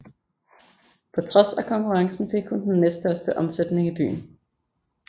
På trods af konkurrencen fik hun den næststørste omsætning i byen